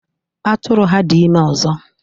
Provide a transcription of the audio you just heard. Atụrụ ha dị ime ọzọ.